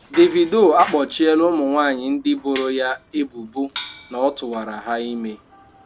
Davido akpọchịela ụmụnwanyị ndị boro ya ebubo na ọ tụwara ha ime.